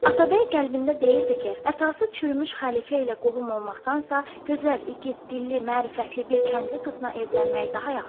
Atabəy qəlbində deyirdi ki, əsası çürümüş xəlifə ilə qohum olmaqdansa, gözəl, igid, dilli, mərifətli bir kəndli qızına evlənmək daha yaxşıdır.